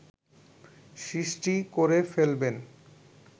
সৃষ্টি করে ফেলবেন